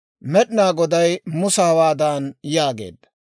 Med'inaa Goday Musa hawaadan yaageedda;